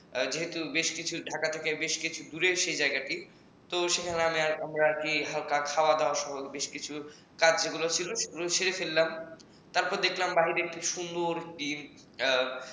যেহেতু ঢাকা থেকে বেশ কিছু দূর সেই জায়গাটি তো সেখানে আমরা হালকা খাওয়া-দাওয়া বেশ কিছু কাজ যেগুলো ছিল সেগুলো সেরে ফেললাম তারপর দেখলাম বাইরে একটি সুন্দর